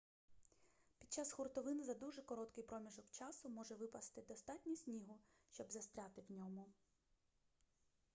під час хуртовин за дуже короткий проміжок часу може випасти достатньо снігу щоб застрягти у ньому